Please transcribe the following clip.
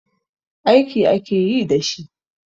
Aiki ake yi da shi.